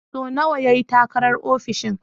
So nawa ya yi takarar ofishin?